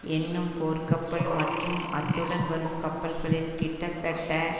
என்னும் போர்க்கப்பல் மற்றும் அத்துடன் வரும் கப்பல்களில் கிட்டத்தட்ட